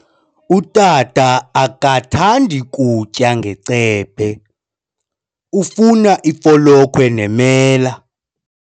Utata akathandi kutya ngecephe, ufuna ifolokhwe nemela.